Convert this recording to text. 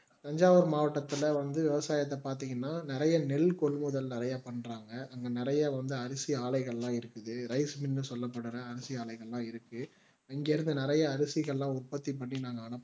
தஞ்சாவூர் மாவட்டத்தில வந்து விவசாயத்தை பார்த்தீங்கன்னா நிறைய நெல் கொள்முதல் நிறைய பண்றாங்க அங்க நிறைய வந்து அரிசி ஆலைகள் எல்லாம் இருக்குது ரைஸ்மில்ன்னு சொல்லபடுற அரிசி ஆலைங்க எல்லாம் இருக்கு இங்க இருந்து நிறைய அரிசிகல்லாம் உற்பத்தி பண்ணி நாங்க அனுப்ப்புறோம்